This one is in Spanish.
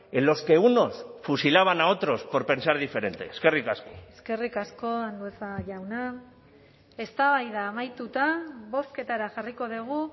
en los que unos fusilaban a otros por pensar diferente eskerrik asko eskerrik asko andueza jauna eztabaida amaituta bozketara jarriko dugu